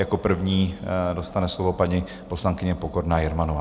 Jako první dostane slovo paní poslankyně Pokorná Jermanová.